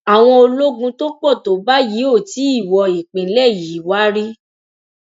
àwọn ológun tó pọ tó báyìí ò tí ì wo ìpínlẹ yìí wá rí